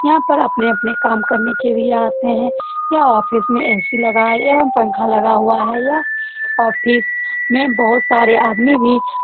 यहाँ पर अपने-अपने काम करने के लिए आते है। यह ऑफिस ए.सी. लगा है एवम पंखा लगा हुआ है। यह ऑफिस में बोहोत सारे आदमी भी --